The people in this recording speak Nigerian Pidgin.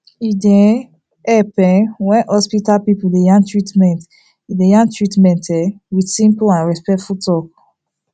e dey um helep um when hospital people dey yarn treatment dey yarn treatment um with simple and respectful talk